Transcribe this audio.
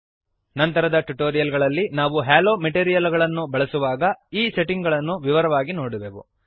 ನಂತರದ ಟ್ಯುಟೋರಿಯಲ್ ಗಳಲ್ಲಿ ನಾವು ಹ್ಯಾಲೊ ಮೆಟೀರಿಯಲ್ ಅನ್ನು ಬಳಸುವಾಗ ಈ ಸೆಟ್ಟಿಂಗ್ ಗಳನ್ನು ವಿವರವಾಗಿ ನೋಡುವೆವು